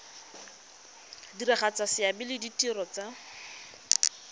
diragatsa seabe le ditiro tsa